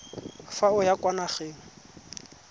fa o ya kwa nageng